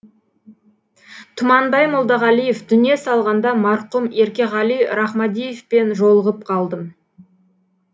тұманбай молдағалиев дүние салғанда марқұм еркеғали рахмадиевпен жолығып қалдым